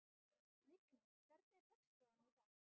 Lingný, hvernig er dagskráin í dag?